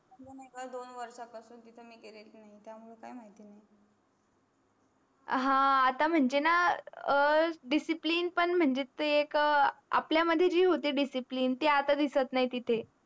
दोन वर्षा पशून तीत मी गेलेच नही त्यामुळे काही माहिती नही आह आता मंझे ना अं discipline मंझे ते आपल्या मध्ये जे होते discipline ते आता दिसत नही तिते